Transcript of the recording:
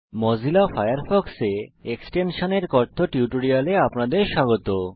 Mozilla ফায়ারফক্সে extension এর কথ্য টিউটোরিয়ালে আপনাদের স্বাগত